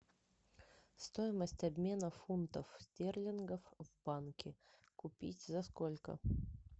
стоимость обмена фунтов стерлингов в банке купить за сколько